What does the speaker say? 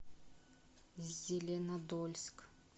зеленодольск